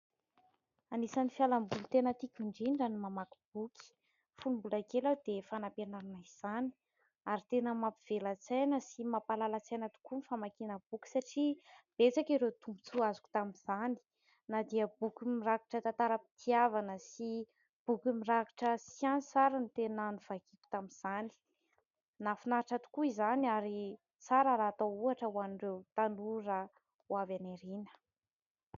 Anisan'ny fialamboly tena tiako indrindra ny mamaky boky. Fony mbola kely aho dia fanampiarina izany. Ary tena mampivela-tsaina sy mampahalala-tsaina tokoa ny famakiana boky, satria betsaka ireo tombontsoa azoko tamin'izany na dia boky mirakitra tantaram-pitiavana sy boky mirakitra siansa ary no tena novakiako tamin'izany. Nahafinaritra tokoa izany ary tsara raha atao ohatra ho an'ireo tanora ho avy any aoriana.